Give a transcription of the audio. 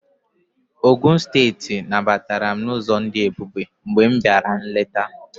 Ogụn steeti nabatara m n'ụzọ dị ebube mgbe m bịara nleta